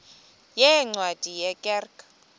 yeencwadi ye kerk